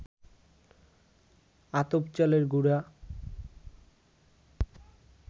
আতপ চালের গুড়া